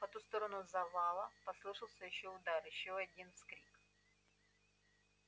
по ту сторону завала послышался ещё удар ещё один вскрик